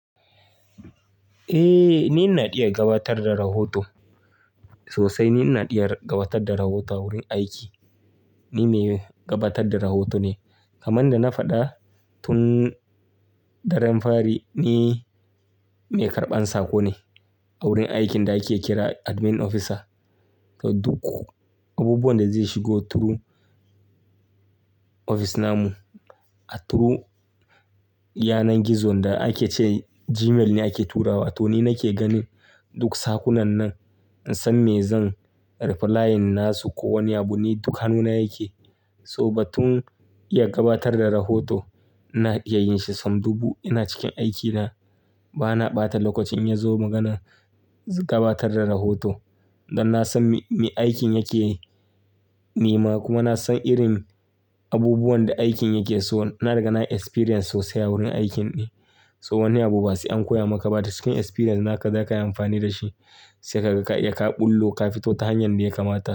Eh, ni ina iya gabatar da rahoto. Sosai ni ina iya gabatar da rahoto a wurin aiki. Ni mai gabatar da rahoto ne. Kaman da na faɗa tun daren fari, ni mai karɓan saƙo ne a wurin aikin da ake kira Admin Officer. So duk abubuwan da zai shigo through ofis na mu, a through yanar gizo da ake ce Gmail ne ake turawa to ni nake ganin duk saƙunan nan. In san me zan replying nasu ko wani abu. Ni duk hannuna yake. So ba tun iya gabatar da rahoto ina iya yin shi. Sam duɓu ina cikin aiki na, ba na ɓata lokaci in ya zo maganan gabatar da rahoto. Dan na san me aikin yake nema kuma na san irin abubuwan da aikin yake so. Na riga nayi experience sosai a wurin aikin ne. So wani abu ba sai an koya maka ba da cikin experience naka zaka yi amfani da shi sai kaga ka ɓullo, ka fito ta hanyan da ya kamata.